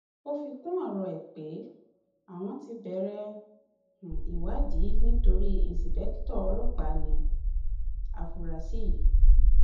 ó fi kún ọrọ ẹ pé àwọn ti bẹrẹ um ìwádìí nítorí íńṣepẹkìtọ ọlọpàá ní um àfúrásì yìí